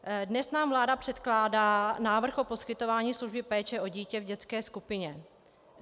Dnes nám vláda předkládá návrh o poskytování služby péče o dítě v dětské skupině.